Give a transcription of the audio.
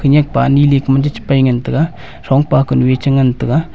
khanyak pani ley ka ma chu che pai ngan taiga thongpa ku nu e che ngan taiga.